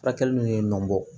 Furakɛli n'u ye ɲɔn bɔ